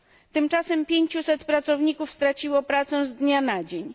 Tymczasem 500 pracowników straciło pracę z dnia na dzień.